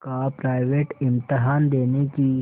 का प्राइवेट इम्तहान देने की